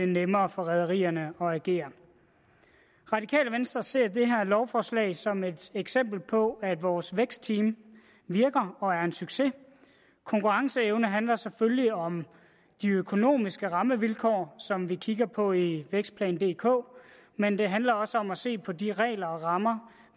nemmere for rederierne at agere radikale venstre ser det her lovforslag som et eksempel på at vores vækstteam virker og er en succes konkurrenceevne handler selvfølgelig om de økonomiske rammevilkår som vi kigger på i vækstplan dk men det handler også om at se på de regler og rammer